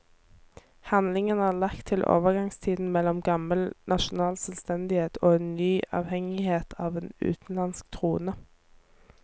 Handlingen er lagt til overgangstiden mellom gammel nasjonal selvstendighet og en ny avhengighet av en utenlandsk trone.